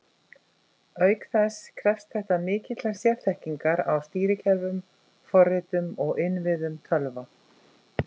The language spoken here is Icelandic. Auk þess krefst þetta mikillar sérþekkingar á stýrikerfum, forritum og innviðum tölva.